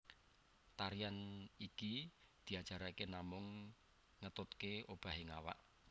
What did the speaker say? Tarian iki diajarake namung ngetutke obahing awak